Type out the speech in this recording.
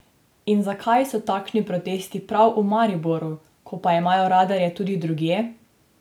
In zakaj so takšni protesti prav v Mariboru, ko pa imajo radarje tudi drugje?